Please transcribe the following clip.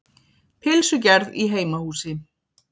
Pylsugerð í heimahúsi.